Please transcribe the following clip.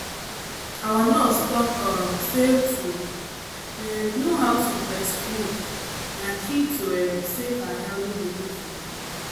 our nurse talk um say to um know how to breastfeed na key to um safe and healthy delivery